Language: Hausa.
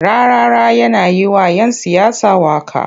Rarara yana yi wa'yan siyasa waƙa.